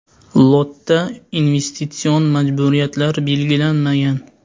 Lotda investitsion majburiyatlar belgilanmagan.